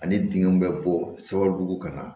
Ani dingɛw be bɔ sababu ka na